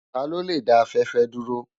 Tá ló lé dá áfèfè dúró?